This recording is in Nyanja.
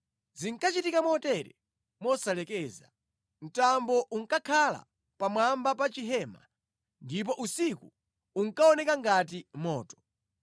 Zinkachitika motere mosalekeza: mtambo unkakhala pamwamba pa chihema, ndipo usiku unkaoneka ngati moto.